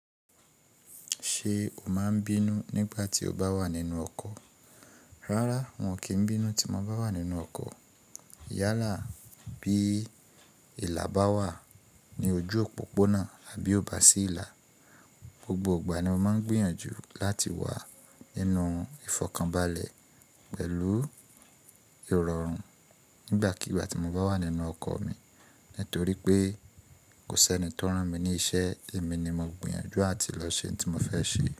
Ṣé o máa ń bínú nígbà tí o bá wà nínú ọkọ̀? Rárá, wọn kì í bínú tí mo bá wà nínú ọkọ̀. Yálà bí ìlà bá wà ní ojú òpópónà àbí ó bá sí ìlà, gbogbo ìgbà ni mo máa ń gbìyànjú láti wà nínú ìfọ̀kànbalẹ̀ pẹ̀lú ìrọ̀rùn nígbàkigbà tí mo bá wà nínú ọkọ̀ mi. Nítorí pé kò sí ẹni tí ó rán mi ní iṣẹ́, èmi ni mo gbìyànjú àti lọ ṣe oun tí mo fẹ́ ṣe.